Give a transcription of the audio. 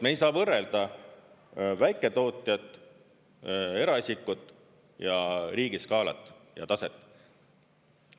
Me ei saa võrrelda väiketootjat, eraisikut ja riigi skaalat ja taset.